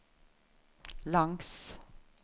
langs